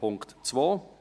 Punkt 2: